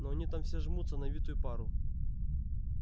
но они там все жмутся на витую пару